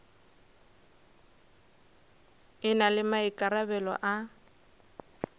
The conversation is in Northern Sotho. e na le maikarabelo a